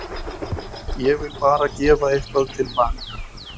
Ég vil bara gefa eitthvað til baka.